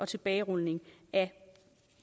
tilbagerulning af